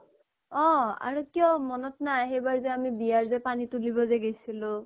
অ' আৰু কিয় মনত নাই সেইবাৰ যে আমি বিয়াৰ যে পানী তুলিব যে গৈছিলো